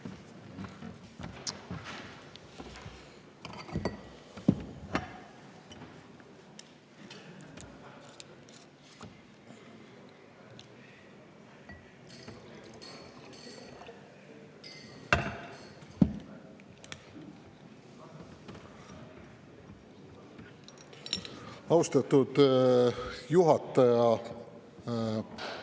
Austatud juhataja!